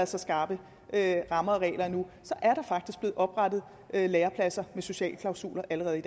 så skarpe rammer og regler nu er der faktisk blevet oprettet lærepladser med sociale klausuler allerede